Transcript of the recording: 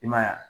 I man ye wa